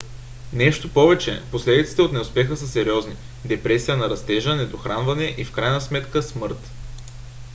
нещо повече последиците от неуспеха са сериозни: депресия на растежа недохранване и в крайна сметка смърт